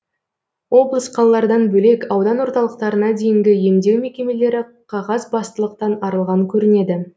облыс қалалардан бөлек аудан орталықтарына дейінгі емдеу мекемелері қағазбастылықтан арылған көрінеді